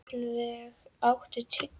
Gullveig, áttu tyggjó?